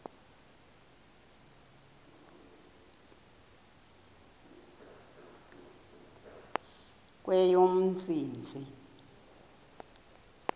kweyomntsintsi